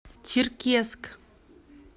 черкесск